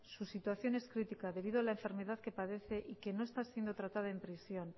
su situación es crítica debido a la enfermedad que padece y que no está siendo tratado en prisión